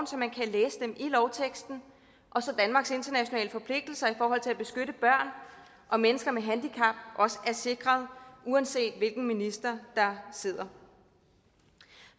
så man kan læse dem i lovteksten og så danmarks internationale forpligtelser i forhold til at beskytte børn og mennesker med handicap også er sikret uanset hvilken minister der sidder